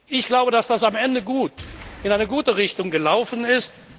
Ich glaube, dass das am Ende in eine gute Richtung gelaufen ist.